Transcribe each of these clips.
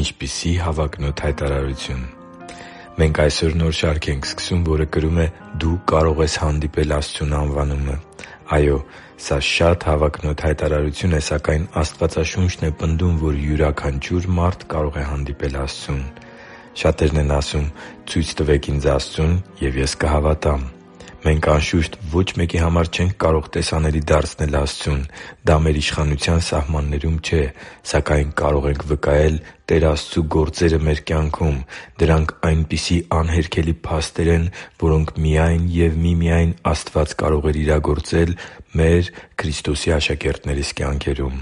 Ինչպիսի՜ հավակնոտ հայտարարություն Մենք այսօր նոր շարք ենք սկսում, որը կրում է «Դու կարո՛ղ ես հանդիպել Աստծուն» անվանումը։ Այո՛, սա շատ հավակնոտ հայտարարություն է, սակայն Աստվածաշունչն է պնդում, որ յուրաքանչյուր մարդ կարող է հանդիպել Աստծուն։ Շատերն են ասում․ «Ցույց տվեք ինձ Աստծուն, և ես կհավատամ»։ Մենք, անշուշտ, ոչ մեկի համար չենք կարող տեսանելի դարձնել Աստծուն։ Դա մեր իշխանության սահմաններում չէ։ Սակայն կարող ենք վկայել Տեր Աստծու գործերը մեր կյանքում։ Դրանք այնպիսի անհերքելի փաստեր են, որոնք միայն և միմիայն Աստված կարող էր իրագործել մեր՝ Քրիստոսի աշակերտներիս կյանքերում։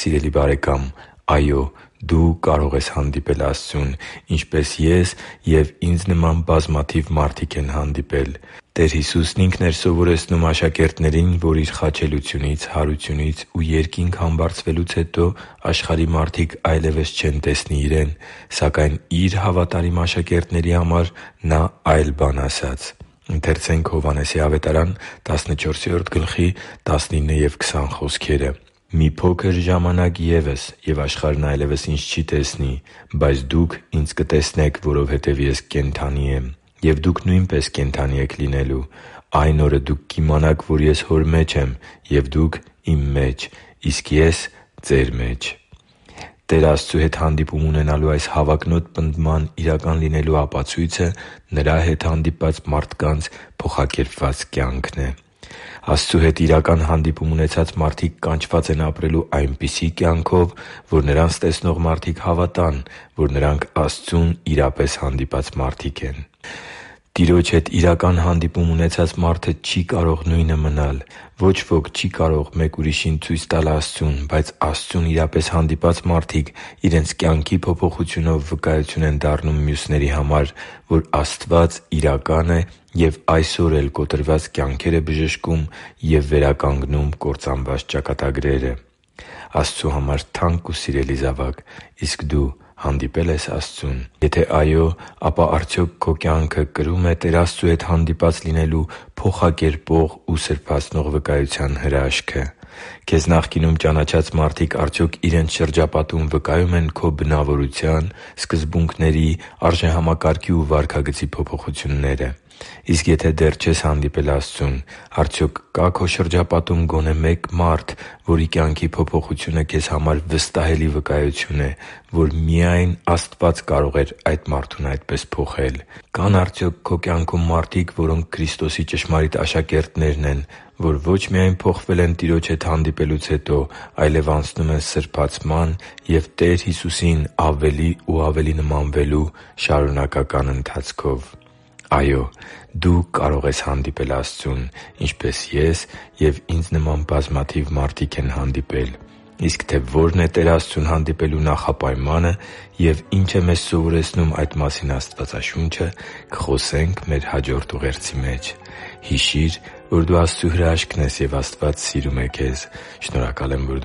Սիրելի՛ բարեկամ, այո՛, դու կարող ես հանդիպել Աստծուն, ինչպես ես և ինձ նման բազմաթիվ մարդիկ են հանդիպել։ Տեր Հիսուսն Ինքն էր սովորեցնում աշակերտներին, որ Իր խաչելությունից, հարությունից ու Երկինք համբարձվելուց հետո աշխարհի մարդիկ այլևս չեն տեսնի Իրեն։ Սակայն Իր հավատարիմ աշակերտների համար Նա այլ բան ասաց․․․ «Մի փոքր ժամանակ ևս, և աշխարհն այլևս Ինձ չի տեսնի. բայց դուք Ինձ կտեսնեք, որովհետև Ես կենդանի եմ, և դուք նույնպես կենդանի եք լինելու։ Այն օրը դուք կիմանաք, որ Ես Իմ Հոր մեջ եմ, և դուք՝ Իմ մեջ, իսկ Ես՝ ձեր մեջ» (Հովհաննես 14․19-20): Տեր Աստծու հետ հանդիպում ունենալու այս հավակնոտ պնդման իրական լինելու ապացույցը Նրա հետ հանդիպած մարդկանց փոխակերպված կյանքն է։ Աստծու հետ իրական հանդիպում ունեցած մարդիկ կանչված են ապրելու այնպիսի կյանքով, որ նրանց տեսնող մարդիկ հավատան, որ նրանք Աստծուն իրապես հանդիպած մարդիկ են։ Տիրոջ հետ իրական հանդիպում ունեցած մարդը չի կարող նույնը մնալ։ Ոչ ոք չի կարող ինչ-որ մեկ ուրիշին ցույց տալ Աստծուն, բայց Աստծուն իրապես հանդիպած մարդիկ իրենց կյանքի փոփոխությունով վկայություն են դառնում մյուսների համար, որ Աստված իրական է և այսօր էլ կոտրված կյանքեր է բժշկում և վերականգնում կործանված ճակատագրերը։ Աստծու համար թանկ ու սիրելի՛ զավակ, իսկ դու հանդիպե՞լ ես Աստծուն։ Եթե այո, ապա արդյոք քո կյանքը կրո՞ւմ է Տեր Աստծու հետ հանդիպած լինելու փոխակերպող ու սրբացնող վկայության հրաշքը։ Քեզ նախկինում ճանաչած մարդիկ արդյոք իրենց շրջապատում վկայո՞ւմ են քո բնավորության, սկզբունքների, արժեհամակարգի ու վարքագծի փոփոխությունները։ Իսկ եթե դեռ չես հանդիպել Աստծուն, արդյոք կա՞ քո շրջապատում գոնե մեկ մարդ, որի կյանքի փոփոխությունը քեզ համար վստահելի վկայություն է, որ միայն Աստված կարող էր այդ մարդուն այդպես փոխել։ Կա՞ն արդյոք քո կյանքում մարդիկ, որոնք Քրիստոսի ճշմարիտ աշակերտներն են, որ ոչ միայն փոխվել են Տիրոջ հետ հանդիպելուց հետո, այլև անցնում են սրբացման և Տեր Հիսուսին ավելի ու ավելի նմանվելու շարունակական ընթացքով։ Այո՛, դու կարող ես հանդիպել Աստծուն, ինչպես ես և ինձ նման բազմաթիվ մարդիկ են հանդիպել։ Իսկ թե ո՛րն է Տեր Աստծուն հանդիպելու նախապայմանը և ի՛նչ է մեզ սովորեցնում այդ մասին Աստվածաշունչը, կխոսենք մեր հաջորդ ուղերձի մեջ։ Հիշի՛ր, որ դու Աստծո հրաշքն ես, և Աստված սիրում է քեզ։ Շնորհակալ եմ, որ